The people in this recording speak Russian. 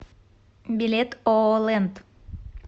билет ооо лэнд